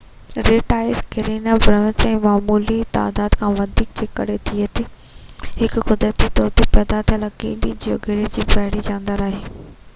red tides Karenia brevis جي معمولي تعداد کان وڌيڪ جي ڪري ٿئي ٿو اهو هڪ قدرتي طور تي پيدا ٿيل اڪيلي جيوگهرڙي جو بحري جاندار آهي